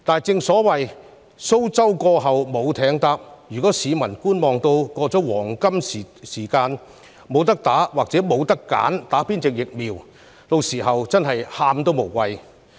如果市民一直採取觀望態度，錯過黃金時機，屆時"無得打"或不能選擇接種哪種疫苗，真的"喊都無謂"。